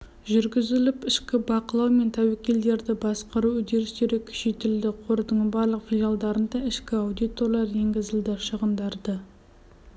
жүргізіліп ішкі бақылау мен тәуекелдерді басқару үдерістері күшейтілді қордың барлық филиалдарында ішкі аудиторлар енгізілді шығындарды